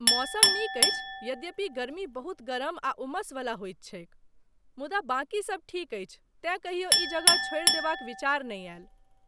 मौसम नीक अछि, यद्यपि गर्मी बहुत गरम आ उमसवला होइत छैक, मुदा बाकी सब ठीक अछि तेँ कहियो ई जगह छोड़ि देबाक विचार नहि आयल।